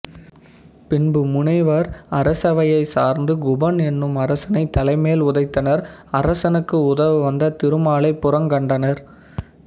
பின்பு முனிவர் அரசவையைச் சார்ந்து குபன் என்னும் அரசனைத் தலைமேல் உதைத்தனர் அரசனுக்கு உதவவந்த திருமாலைப் புறங்கண்டனர்